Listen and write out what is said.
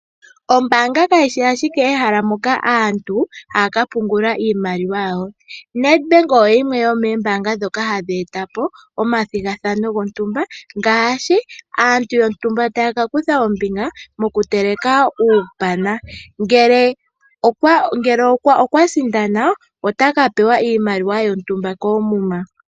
Ombaanga kayi shi ashike ehala moka aantu haya ka pungula iimaliwa yawo. Nedbank oyo yimwe yomoombaanga ndhoka hadhi eta Po omathigathano gontumba ngaashi aantu yontumba taya ka kutha ombinga mokuteleka uupana ngele okwa sindana otaka pewa iimaliwa yontumba koomuma